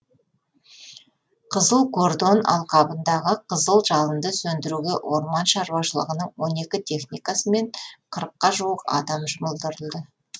қызыл кордон алқабындағы қызыл жалынды сөндіруге орман шаруашылығының он екі техникасы мен қырыққа жуық адам жұмылдырылды